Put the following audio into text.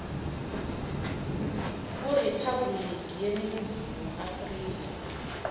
kuriphabhuliki yeningizimu afrika